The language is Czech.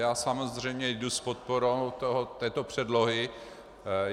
Já samozřejmě jdu s podporou této předlohy.